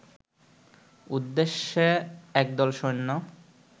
উদ্দেশ্যে একদল সৈন্য